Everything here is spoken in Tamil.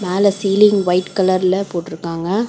மேல சீலிங் வைட் கலர்ல போட்ருகாங்க.